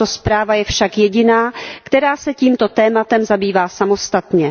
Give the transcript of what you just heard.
Tato zpráva je však jediná, která se tímto tématem zabývá samostatně.